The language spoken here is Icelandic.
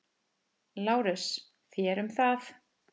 LÁRUS: Þér um það.